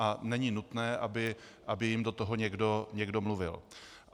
A není nutné, aby jim do toho někdo mluvil.